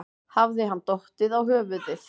Hafði hann dottið á höfuðið?